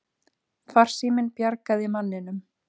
Farsíminn bjargaði manninum